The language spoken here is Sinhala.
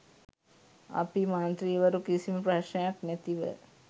අපි මන්ත්‍රීවරු කිසිම ප්‍රශ්නයක් නැතිව